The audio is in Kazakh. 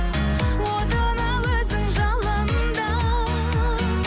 отына өзің жалында